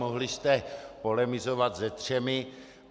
Mohli jste polemizovat se třemi.